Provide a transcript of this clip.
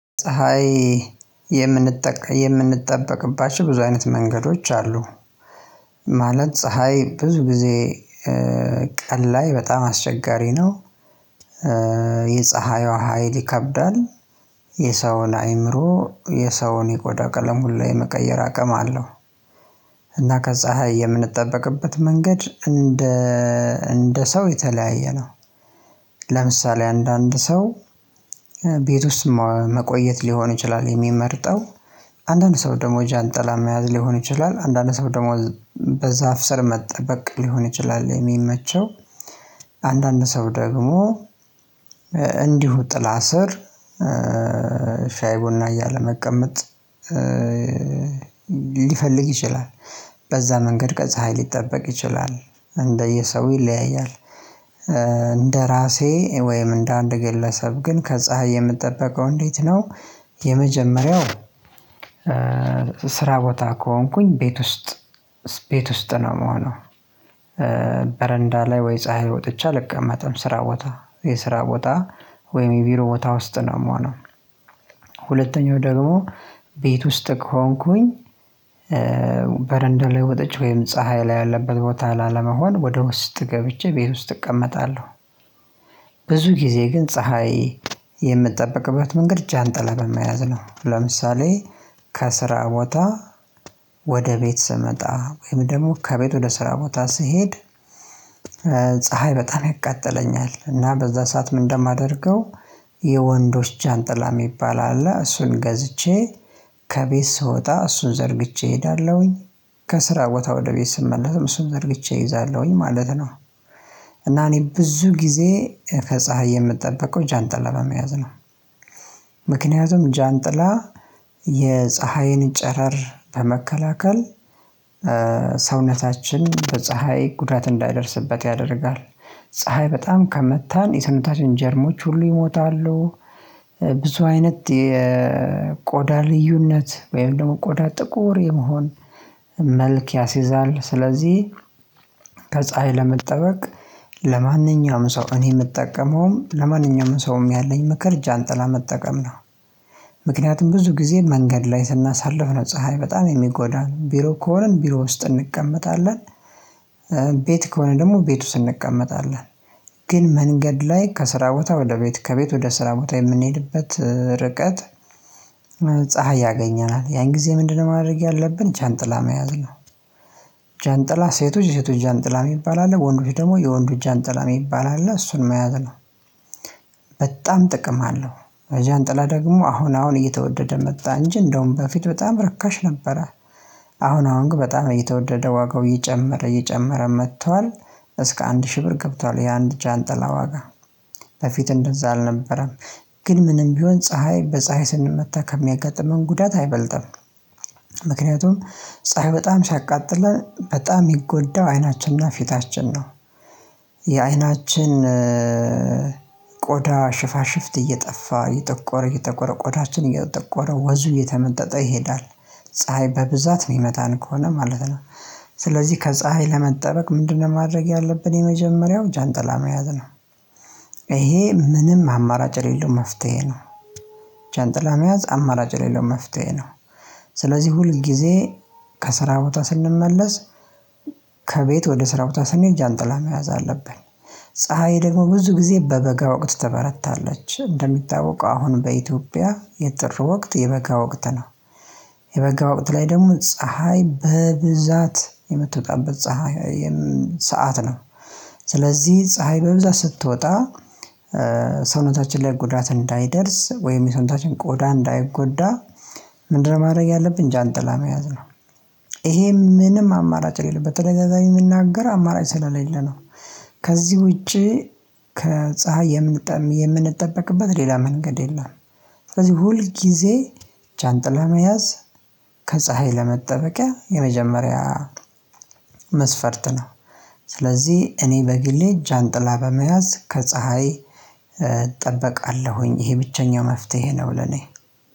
ፀሀይ የምንጠ የምንጠበቅባቸው ብዙ አይነት መንገዶች አሉ። ማለት ፀሀይ ብዙ ጊዜ ቀን ላይ በጣም አስቸጋሪ ነው። የፀሀይዋ ሀይል ይከብዳል የሰውን አይምሮ የሰውን የቆዳ ቀለም ሁሉ የመቀየር አቅም ሁላ አለው። እና ከፀሀይ የምንጠበቅበት መንገድ እንደ እንደ ሰው የተለያየ ነው። ለምሳሌ አንድአንድ ሰው ቤት ውስጥ መቆየት ሊሆን ይችላል የሚመርጠው። አንድአንድ ሰው ደግሞ ዣንጥላ መያዝ ሊሆን ይችላል። አንድአንድ ሰው ደግሞ በዛፍ ስር መጠበቅ ሊሆን ይችላል የሚመቸው። አንድአንድ ሰው ደግሞ እንዲሁ ጥላ ስር ሻይ ቡና እያለ መቀመጥ ሊፈልግ ይችላል። በዛ መንገድ ከፀሀይ ሊጠበቅ ይችላል። እንደየሰው ይለያያል። እንደራሴ ወይም እንደአንድ ግለሰብ ግን ከፀሀይ የምጠበቀው እንዴት ነው የመጀመሪያው ስራ ቦታ ከሆንኩኝ ቤት ውስጥ ቤት ውስጥ ነው የምሆነው። በረንዳ ላይ ወይ ፀሀይ ላይ ወጥቼ አልቀመጥም። ስራ ቦታ የስራ ቦታ ወይም የቢሮ ቦታ ውስጥ ነው የምሆነው። ሁለተኛው ደግሞ ቤት ውስጥ ከሆንኩኝ በረንዳ ላይ ወጥቼ ወይም ፀሀይ ላይ ያለበት ቦታ ላለመሆን ወደ ውስጥ ገብቼ ቤት ውስጥ እቀመጣለሁ። ብዙ ጊዜ ግን ፀሀይ የምጠበቅበት መንገድ ዣንጥላ በመያዝ ነው። ለምሳሌ ከስራ ቦታ ወደ ቤት ስመጣ ወይም ደግሞ ከቤት ወደ ስራ ቦታ ስሄድ ፀሀይ በጣም ያቃጥለኛል እና በዛ ሰዓት ምንድነው የማደርገው የወንዶች ዣንጥላ የሚባል አለ። እሱን ገዝቼ ከቤት ስወጣ እሱን ዘርግቼ እሄዳለሁኝ። ከስራ ቦታ ወደ ቤት ስመለስም እሱን ዘርግቼ እይዛለሁኝ ማለት ነው። እና እኔ ብዙ ጊዜ ከፀሀይ የምጠበቀው ዣንጥላ በመያዝ ነው። ምክንያቱም ዣንጥላ የፀሀይን ጨረር ለመከላከል ሰውነታችን በፀሀይ ጉዳት እንዳይደርስበት ያደርጋል። ፀሀይ በጣም ከመታን የሰውነታችን ጀርሞች ሁሉ ይሞታሉ። ብዙ አይነት የቆዳ ልዩነት ወይም ደግሞ ቆዳ ጥቁር የመሆን መልክ ያሲዛል። ስለዚህ ከፀሀይ ለመጠበቅ ለማንኛውም ሰው እኔ የምጠቀመውን ለማንኛውም ሰውም ያለኝ ምክር ዣንጥላ መጠቀም ነው። ምክንያቱም ብዙ ጊዜ መንገድ ላይ ስናሳልፍ ነው። ፀሀይ በጣም የሚጎዳን ቢሮ ከሆነን ቢሮ ውስጥ እንቀመጣለን። ከሆንን ደግሞ ቤት ውስጥ እንቀመጣለን። ግን መንገድ ላይ ከስራ ቦታ ወደ ቤት ከቤት ወደ ስራ ቦታ የምንሄድበት ርቀት ፀሀይ ያገኘናል። ያን ጊዜ ምንድነው ማድረግ ያለብን ዣንጥላ መያዝ ነው። ዣንጥላ ሴቶች የሴቶች ዣንጥላ የሚባል አለ። ወንዶች ደግሞ የወንዶች ዣንጥላ የሚባል አለ። እሱን መያዝ ነው። በጣም ጥቅም አለው። ዣንጥላ ደግሞ አሁን አሁን እየተወደደ መጣ እንጂ እንደውም በፊት በጣም ርካሽ ነበረ። አሁን አሁን ግን በጣም እየተወደደ ዋጋው እየጨመረ እየጨመረ መጥቷል። እስከ አንድ ሺህ ብር ገብቷል የአንድ ዣንጥላ ዋጋ። በፊት እንደዛ አልነበረም። ግን ምንም ቢሆን ፀሀይ በፀሀይ ስንመታ ከሚያጋጥመን ጉዳት አይበልጥም። ምክንያቱም ፀሀይ በጣም ሲያቃጥለን በጣም የሚጎዳው አይናችን እና ፊታችን ነው። የአይናችን ቆዳ ሽፋሽፍት እየጠፋ እጠቆረ እጠቆረ ቆዳችን እየጠቆረ ወዙ እየተመጠጠ ይሄዳል። ፀሀይ በብዛት የሚመታን ከሆነ ማለት ነው ስለዚህ ከፀሀይ ለመጠበቅ ምንድነው ማድረግ ያለብን የመጀመሪያው ዣንጥላ መያዝ ነው። ይሄ ምንም አማራጭ የሌለው መፍትሄ ነው። ዣንጥላ መያዝ አማራጭ የሌለው መፍትሄ ነው። ስለዚህ ሁል ጊዜ ከስራ ቦታ ስንመለስ ከቤት ወደ ስራ ቦታ ስንሄድ ዣንጥላ መያዝ አለብን። ፀሀይ ደግሞ ብዙ ጊዜ በበጋ ወቅት ትበረታለች። እንደሚታወቀው አሁን በኢትዮጵያ የጥር ወቅት የበጋ ወቅት ነው። የበጋ ወቅት ላይ ደግሞ ፀሀይ በብዛት የምትወጣበት ፀሀይ ሰዓት ነው። ስለዚህ ፀሀይ በብዛት ስትወጣ ሰውነታችን ላይ ጉዳት እንዳይደርስ ወይም የሰውነታችን ቆዳ እንዳይጎዳ ምንድነው ማድረግ ያለብን ዣንጥላ መያዝ ነው። ይሄም ምንም አማራጭ የሌለው ነው። በተደጋጋሚ የምናገር አማራጭ ስለሌለ ነው። ከዚህ ውጪ ከፀሀይ የምንጠበቅበት ሌላ መንገድ የለም። ስለዚህ ሁል ጊዜ ዣንጥላ መያዝ ከፀሀይ ለመጠበቂያ የመጀመሪያ መስፈርት ነው። ስለዚህ እኔ በግሌ ዣንጥላ በመያዝ ከፀሀይ እጠበቃለሁኝ። ይሄ ብቸኛው መፍትሄ ነው ለኔ።